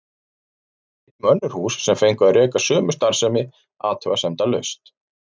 Ég veit um önnur hús sem fengu að reka sömu starfsemi athugasemdalaust.